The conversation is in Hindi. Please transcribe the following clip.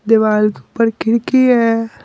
दिवाल के ऊपर किड़की है।